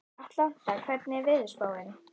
Atlanta, hvernig er veðurspáin?